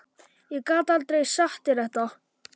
Ég gat aldrei sagt þér þetta.